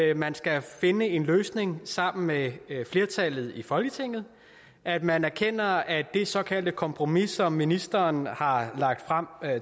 at man skal finde en løsning sammen med flertallet i folketinget at man erkender at det såkaldte kompromis som ministeren har lagt frem